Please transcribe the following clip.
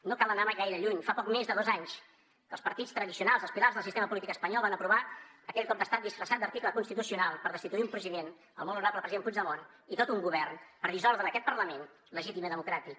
no cal anar gaire lluny fa poc més de dos anys que els partits tradicionals els pilars del sistema polític espanyol van aprovar aquell cop d’estat disfressat d’article constitucional per destituir un president el molt honorable president puigdemont i tot un govern per dissoldre aquest parlament legítim i democràtic